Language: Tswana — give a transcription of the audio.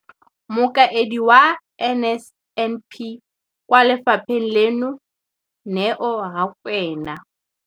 Mokaedi wa NSNP kwa lefapheng leno, Neo Rakwena,